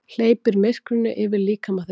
Hleypir myrkrinu yfir líkama þeirra.